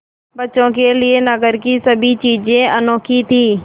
बच्चों के लिए नगर की सभी चीज़ें अनोखी थीं